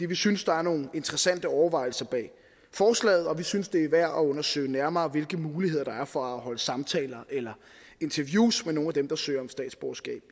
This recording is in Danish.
vi synes der er nogle interessante overvejelser bag forslaget og vi synes det er værd at undersøge nærmere hvilke muligheder der er for at holde samtaler eller interviews med nogle af dem der søger om statsborgerskab